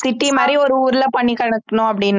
city மாரி ஒரு ஊர்ல பண்ணிக் கொடுக்கணும் அப்படின்னு